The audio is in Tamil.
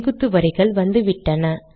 செங்குத்து வரிகள் வந்துவிட்டன